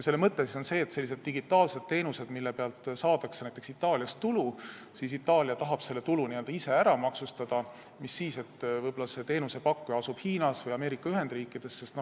Selle mõte on see, et kui digitaalsete teenuste pealt saadakse Itaalias tulu, siis Itaalia tahab selle tulu ise ära maksustada, mis siis, et teenusepakkuja asub Hiinas või Ameerika Ühendriikides.